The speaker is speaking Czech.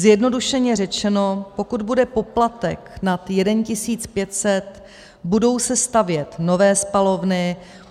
Zjednodušeně řečeno, pokud bude poplatek nad 1 500, budou se stavět nové spalovny.